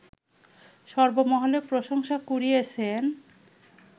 সর্বমহলে প্রশংসা কুড়িয়েছেন